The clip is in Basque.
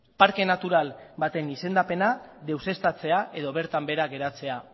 parke natural baten izendapena deuseztatzea edo bertan behera geratzea